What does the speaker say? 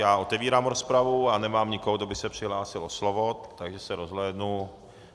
Já otevírám rozpravu a nemám nikoho, kdo by se přihlásil o slovo, takže se rozhlédnu.